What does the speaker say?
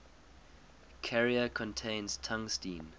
carrier contains tungsten